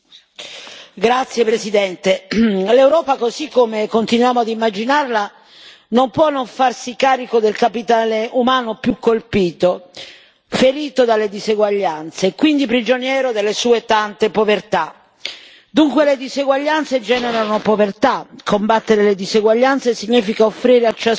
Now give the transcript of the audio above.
Signora Presidente, onorevoli colleghi, l'Europa così come continuano ad immaginarla non può non farsi carico del capitale umano più colpito, ferito dalle diseguaglianze e quindi prigioniero delle sue tante povertà. Dunque le diseguaglianze generano povertà, combattere le diseguaglianze significa offrire a ciascuno